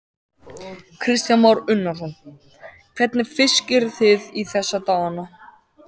Kristján Már Unnarsson: Hvernig fisk eruð þið í þessa dagana?